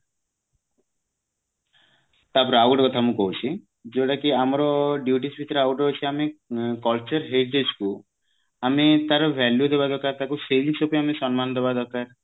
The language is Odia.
ତାପରେ ଆଉ ଗୋଟେ କଥା ମୁଁ କହୁଛି ଯୋଉଟା କି ଆମର duties ଭିତରେ ଆଉ ଟେ ଅଛି ଆମେ culture କୁ ଆମେ ତାର value ଦେବା ଦରକାର ତାକୁ ସେଇ ଜିନିଷ ପାଇଁ ବି ସମ୍ମାନ ଦବା ଦରକାର